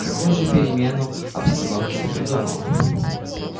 какую же перемену обстановки ты придумала